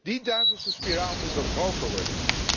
Die duivelse spiraal moet doorbroken worden.